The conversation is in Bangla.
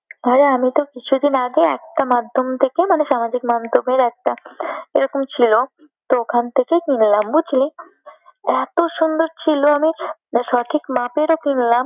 হ্যাঁ রে আমি তো কিছুদিন আগে একটা মাধ্যম থেকে মানে সামাজিক মাধ্যমের একটা এরকম ছিল তো ওখান থেকে কিনলাম বুঝলি। এতসুন্দর ছিল আমি সঠিক মাপেরও কিনলাম